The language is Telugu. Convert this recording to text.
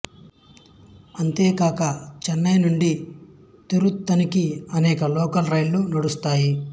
అంతేకాక చెన్నై నుండి తిరుత్తణికి అనేక లోకల్ రైళ్ళు నడుస్తాయి